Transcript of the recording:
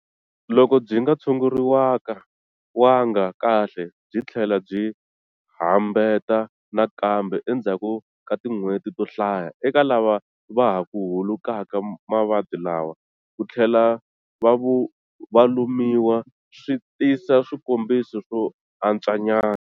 Loko byinga tshunguriwanga kahle, byithlela byi hambeta nakambe endzhaku ka tin'wheti to hlaya. Eka lava vahaku hulukaka mavabyi lawa, kuthlela valumiwa swi tisa swikombiso swo antswanyana.